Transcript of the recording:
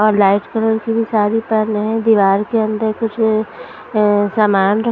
और light colour की भी सारी पहने हैं दीवार के अंदर कुछ अ सामान --